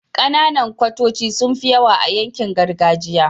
Kananan kwatoci sunfi yawa a yankin gargajiya